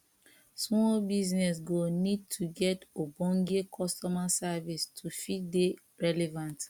small business go need to get ogbonge customer service to fit dey relevant